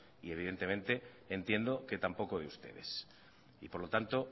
y evidentemente entiendo que tampoco de ustedes y por lo tanto